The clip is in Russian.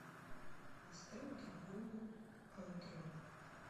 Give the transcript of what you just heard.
поставь другому андро